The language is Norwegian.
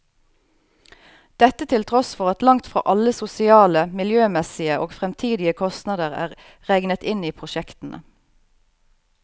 Dette til tross for at langt fra alle sosiale, miljømessige og fremtidige kostnader er regnet inn i prosjektene.